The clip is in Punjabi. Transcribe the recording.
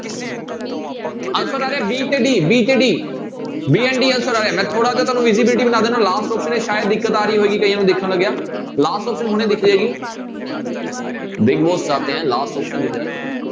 Answer ਆ ਰਿਹਾ b ਤੇ d, b ਤੇ d, b and d answer ਆ ਰਿਹਾ, ਮੈਂ ਥੋੜ੍ਹਾ ਜਿਹਾ ਤੁਹਾਨੂੰ easability ਬਣਾ ਦਿਨਾ last option ਵਿੱਚ ਸ਼ਾਇਦ ਦਿੱਕਤ ਆ ਰਹੀ ਹੋਏਗੀ ਕਈਆਂ ਨੂੰ ਦੇਖਣ ਲੱਗਿਆ last option ਹੁਣੇ ਦਿਖ ਜਾਏਗੀ big boss ਚਾਹਤੇ ਹੈਂ last option ਦਿਖ ਜਾ।